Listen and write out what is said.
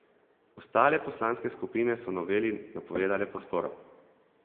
Ostale poslanske skupine so noveli napovedale podporo.